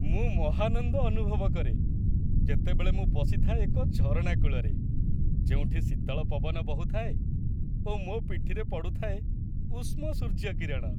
ମୁଁ ମହାନନ୍ଦ ଅନୁଭବ କରେ, ଯେତେବେଳେ ମୁଁ ବସିଥାଏ ଏକ ଝରଣା କୂଳରେ, ଯେଉଁଠି ଶୀତଳ ପବନ ବହୁଥାଏ ଓ ମୋ ପିଠିରେ ପଡ଼ୁଥାଏ ଉଷ୍ମ ସୂର୍ଯ୍ୟକିରଣ।